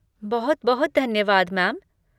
बहुत बहुत धन्यवाद, मैम।